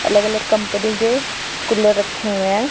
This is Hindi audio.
अलग अलग कंपनी के कुलर रखे हुए हैं।